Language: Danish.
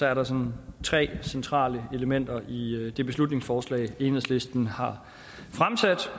er der sådan tre centrale elementer i det beslutningsforslag enhedslisten har fremsat